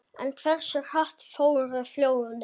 En hversu hratt fóru flóðin?